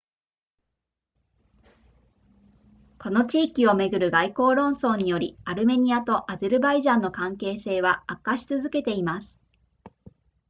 この地域をめぐる外交論争によりアルメニアとアゼルバイジャンの関係性は悪化し続けています